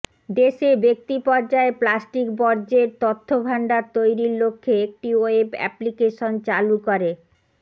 দেশে ব্যক্তি পর্যায়ে প্লাস্টিক বর্জ্যের তথ্য ভাণ্ডার তৈরির লক্ষ্যে একটি ওয়েব অ্যাপলিকেশন চালু করে